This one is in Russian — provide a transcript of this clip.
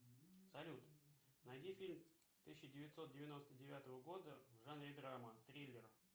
салют найди фильм тысяча девятьсот девяносто девятого года в жанре драма триллер